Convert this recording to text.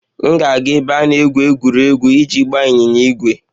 M ga-aga n'ebe a na-egwu egwuregwu iji gbaa ịnyịnya ígwè.